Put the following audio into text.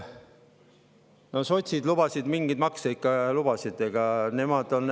No sotsid ikkagi lubasid mingeid makse.